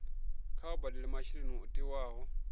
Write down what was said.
kha vha badele masheleni o tiwaho